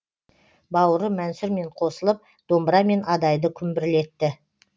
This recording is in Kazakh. бауыры мәнсұрмен қосылып домбырамен адайды күмбірлетті